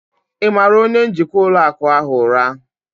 Ị mara onye njikwa ụlọ akụ ahụ ụra?